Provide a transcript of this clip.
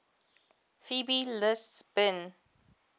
fbi lists bin